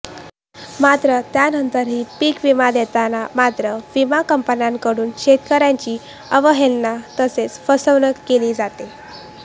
मात्र त्यानंतरही पीक विमा देताना मात्र विमा कंपन्यांकडून शेतकर्यांची अवहेलना तसेच फसवणूक केली जाते